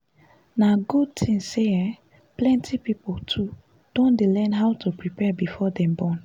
na good thing say um plenty people too don dey learn how to prepare before dem born